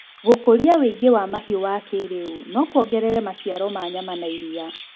gũkũria wĩigi wa mahiũ wa kĩĩrĩu no kuogerere maciaro ma nyama na iria